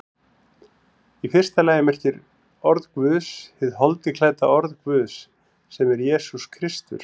Í fyrsta lagi merkir orð Guðs hið holdi klædda orð Guðs, sem er Jesús Kristur.